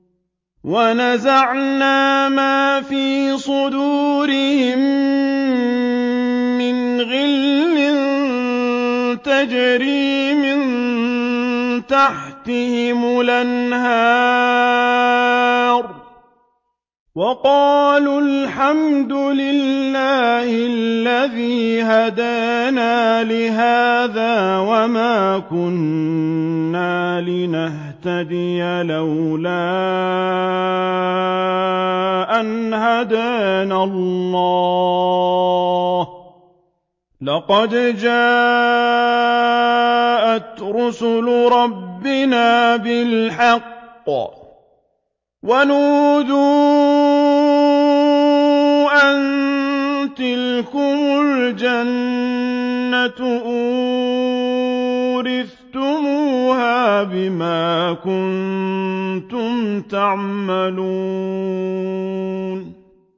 وَنَزَعْنَا مَا فِي صُدُورِهِم مِّنْ غِلٍّ تَجْرِي مِن تَحْتِهِمُ الْأَنْهَارُ ۖ وَقَالُوا الْحَمْدُ لِلَّهِ الَّذِي هَدَانَا لِهَٰذَا وَمَا كُنَّا لِنَهْتَدِيَ لَوْلَا أَنْ هَدَانَا اللَّهُ ۖ لَقَدْ جَاءَتْ رُسُلُ رَبِّنَا بِالْحَقِّ ۖ وَنُودُوا أَن تِلْكُمُ الْجَنَّةُ أُورِثْتُمُوهَا بِمَا كُنتُمْ تَعْمَلُونَ